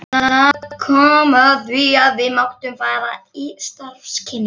Það kom að því að við máttum fara í starfskynningu.